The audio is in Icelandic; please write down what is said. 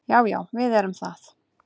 Já, já við erum það.